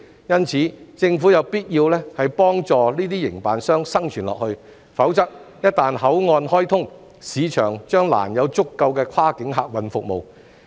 因此，政府有必要幫助這些營辦商繼續生存，否則一旦口岸開通，市場將難提供足夠的跨境客運服務。